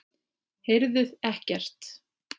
Heyrðuð ekkert?